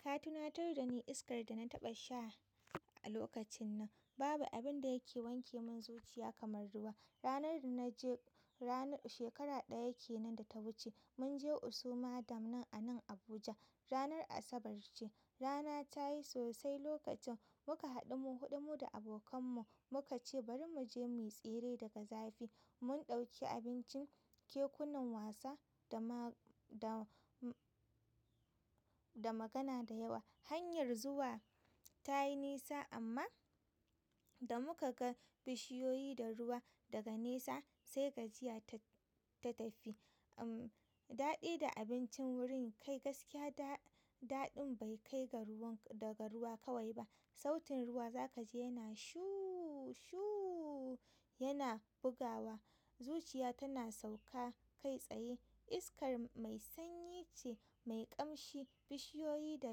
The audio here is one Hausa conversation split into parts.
Ka tunatar dani iskar dana taɓa sha a lokacin nan. Babu abin da yake wanke min zuciya kamar ruwa. Ranar da na je ranar, shekara ɗaya kenan da ta wuce, mun je Usoma Dam nan a nan Abuja. Ranar Asabar ce. Rana tayi sosai lokacin muka haɗu mu huɗu mu da abokan mu, muka ce bari mu je muyi tsere daga zafi. Mun ɗauki abincin, kekunan wasa da ma- da, da magana da yawa. Hanyar zuwa tayi nisa amma da muka ga bishiyoyi da ruwa daga nesa sai gajiya ta, ta tafi. Uhm, daɗi da abincin wurin kai gaskiya da-daɗin bai kai ga ruwan, daga ruwa kawai ba. Sautin ruwa za ka ji yana shuu shuu yana bugawa. Zuciya tana sauka kai tsaye. Iskar mai sanyi ce, mai ƙamshi, bishiyoyi da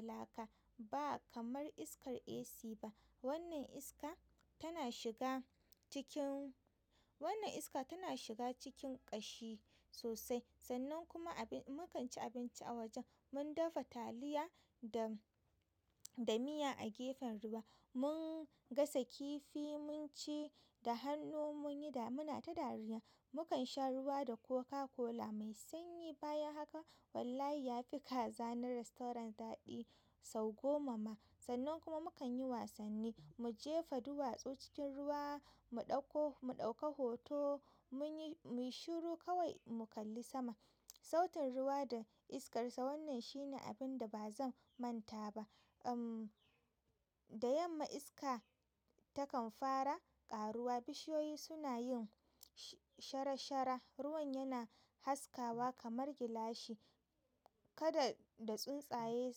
laka. Ba kamar iskar AC ba. Wannan iska tana shiga cikin, wannan iska tana shiga cikin ƙashi sosai. Sannan kuma abin mukan ci abinci a wajen mun dafa taliya da, da miya a gefen ruwa. Mun gasa kifi mun ci da hannu mun yi damuna ta dariya. Mu kan sha ruwa da Coca-Cola mai sanyi. Bayan haka wallahi ya fi kaza ba rastorant daɗi sau goma ma. Sannan kuma mu kan yi wasanni, mu jefa duwatsu cikin ruwa, mu ɗauko, mu ɗauka hoto, mun yi, mu yi shiru kawai mu kalli sama. Sautin ruwa da iskarsa wannan shine abin da ba zan manta ba. Uhm, da yamma iska takan fara ƙaruwa. Bishiyoyi suna yin shara shara. Ruwan yana haskawa kamar gilashi. Kada da tsuntsaye,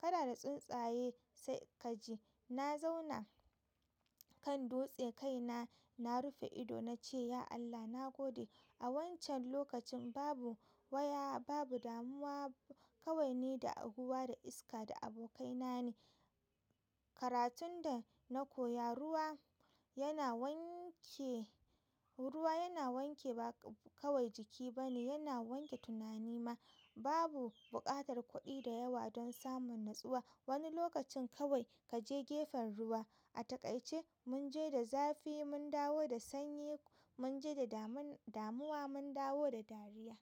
kada da tsuntsaye sai ka ji. Na zauna kan dutse kai na, na rufe ido na ce, "Ya Allah, na gode." A wancan lokacin babu waya, babu damuwa. Kawai ni da aguwa da iska da abokaina ne. Karatun da na koya ruwa yana wanke, ruwa yana wanke ba kawai jiki ba ne, yana wanke tunani ma. Babu buƙatar kuɗi da yawa don samun natsuwa. Wani lokacin kawai ka je gefen ruwa. A takaice mun je da zafi mun dawo da sanyi. Mun je da daman-damuwa mun dawo da dariya.